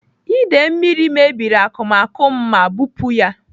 Ide mmiri mebiri n'akụmakụ m ma bupu ya.